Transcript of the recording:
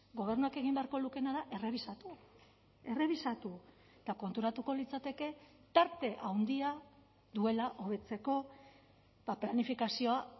gobernuak egin beharko lukeena da errebisatu errebisatu eta konturatuko litzateke tarte handia duela hobetzeko planifikazioa